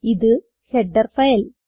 ഇത് header file